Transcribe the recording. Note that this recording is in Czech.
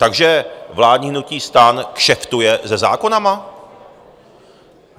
Takže vládní hnutí STAN kšeftuje se zákony?